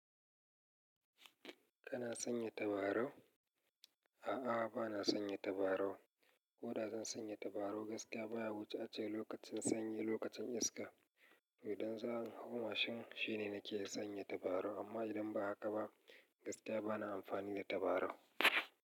Kana sanya tabarau? A'a, ba na sanya tabarau. Koda zan sanya tabarau, gaskiya baya wuce ace lokacin sanye lokacin iska. Don tsarin hawa mashin shine nake sanya tabarau, amma idan ba haka ba, gaskiya bana amfani da tabarau.